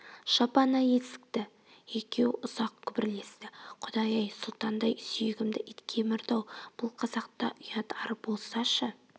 жап ана есікті екеуі ұзақ күбірлесті құдай-ай сұлтандай сүйегімді ит кемірді-ау бұл қазақта ұят ар болсашы